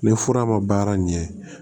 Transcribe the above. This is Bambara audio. Ni fura ma baara ɲɛ